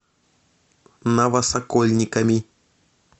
новосокольниками